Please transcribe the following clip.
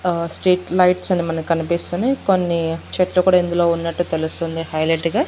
ఆహ్ street lights మనకి కనిపిస్తున్నాయి కొన్ని చెట్లు కూడా ఇందులో ఉన్నట్టు తెలుస్తుంది హైలెట్ గా.